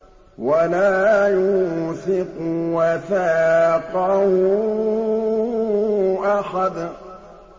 وَلَا يُوثِقُ وَثَاقَهُ أَحَدٌ